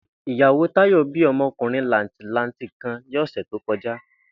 Ìyàwó Táyò̩ bí o̩mo̩kùnrin làǹtìlanti kan ní ò̩sè̩ tó ko̩já